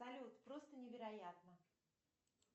салют просто невероятно